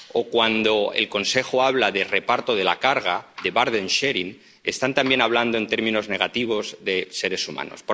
o cuando el Consejo habla de reparto de la carga —de burden sharing está también hablando en términos negativos de seres humanos.